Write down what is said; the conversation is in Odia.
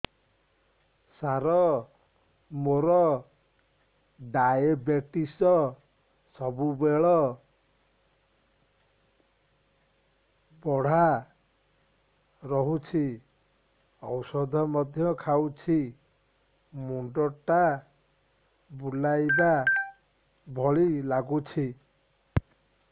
ସାର ମୋର ଡାଏବେଟିସ ସବୁବେଳ ବଢ଼ା ରହୁଛି ଔଷଧ ମଧ୍ୟ ଖାଉଛି ମୁଣ୍ଡ ଟା ବୁଲାଇବା ଭଳି ଲାଗୁଛି